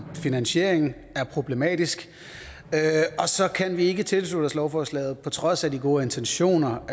finansieringen er problematisk og så kan vi ikke tilslutte os lovforslaget på trods af de gode intentioner